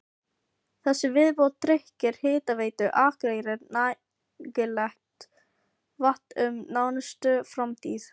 Þessi viðbót tryggir Hitaveitu Akureyrar nægilegt vatn um nánustu framtíð.